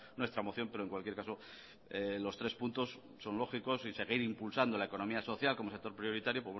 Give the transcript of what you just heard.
nuestra moción pero en cualquier caso los tres puntos son lógicos y seguir impulsando la economía social como sector prioritario